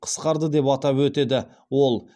қысқарды деп атап өтеді ол